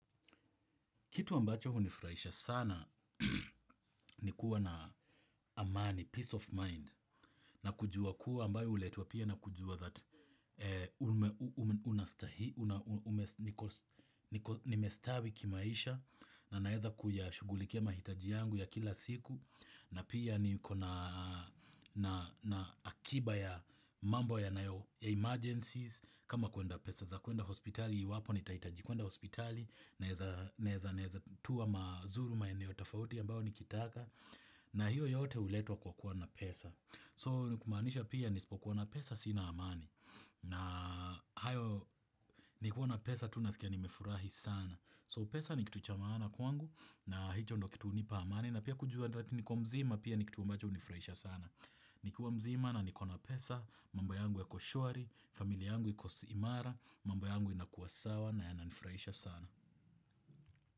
Kitu ambacho hunifraisha sana ni kuwa na amani, peace of mind na kujua kuwa ambayo uletua pia na kujua that nimestawi kimaisha naeza kuyashugulikia mahitaji yangu ya kila siku na pia niko na akiba ya mambo ya emergencies kama pesa za kuenda hospitali iwapo nitaitaji kuenda hospitali. Naeza tuwa mazuru maeneo tafauti ambao nikitaka. Na hiyo yote uletwa kwa kuwa na pesa So ni kumanisha pia nisipokuwa na pesa sina amani. Na hayo nikiwa na pesa tu naskia nimefurahi sana. So pesa ni kitu cha maana kwangu na hicho ndo kitu unipa amani na pia kujua niko mzima pia ni kitu ambacho unifuraisha sana. Nikuwa mzima na nikona pesa mambo yangu yako shwari, familia yangu iko imara. Mambo yangu inakua sawa na yananifuraisha sana.